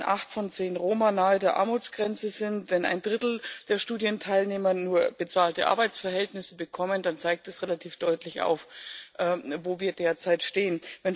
Wenn acht von zehn Roma nahe der Armutsgrenze sind, wenn ein Drittel der Studienteilnehmer nur bezahlte Arbeitsverhältnisse bekommen, dann zeigt das relativ deutlich auf, wo wir derzeit stehen.